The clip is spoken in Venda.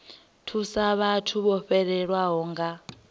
thusa vhathu vho fhelelwaho nga